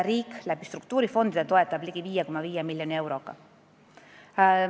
Riik toetab seda struktuurifondide kaudu ligi 5,5 miljoni euroga.